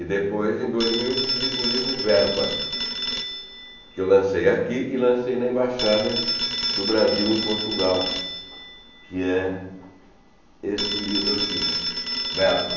E depois, em dois mil, eu publico o livro Verba, que eu lancei aqui e lancei na Embaixada do Brasil em Portugal, que é este livro aqui, Verba.